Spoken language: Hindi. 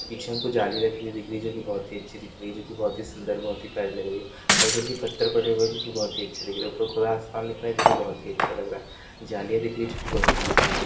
पीछे हमको जाली रखी हुई दिख रही है जो कि बहुत ही अच्छी दिख रही है जो कि बहुत ही सुंदर बहुत ही प्यारी लग रही है हल्के हल्के पत्थर पड़े हुए हैं जो कि बहुत ही अच्छे दिख रहे हैं ऊपर खुला आसमान दिख रहा है जो कि बहुत ही अच्छा लग रहा है जालियाँ दिख रही हैं जो कि लोहे की दिख रही है।